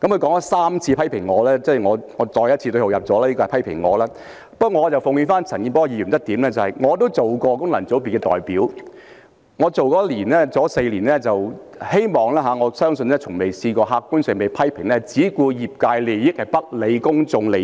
他3次批評我——我再次對號入座，我認為他是批評我——不過，我奉勸陳健波議員一點，我也曾擔任功能界別的代表，在我擔任功能界別代表的4年，我希望亦相信我從未在客觀上被批評只顧業界利益而不理公眾利益。